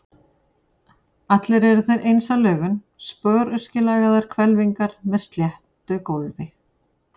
Allir eru þeir eins að lögun, sporöskjulagaðar hvelfingar með sléttu gólfi.